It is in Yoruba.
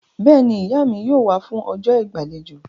Bẹ́ẹ̀ni, Ìyá mi yóò wá fún ọjọ́ ìgbàlejò